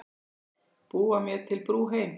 Búa mér til brú heim.